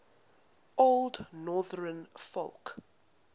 old northern folk